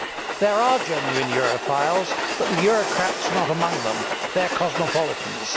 There are genuine Europhiles, but the Eurocrats are not among them. They are cosmopolitans.